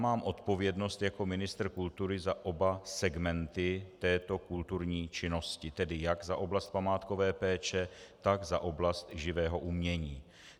Mám odpovědnost jako ministr kultury za oba segmenty této kulturní činnosti, tedy jak za oblast památkové péče, tak za oblast živého umění.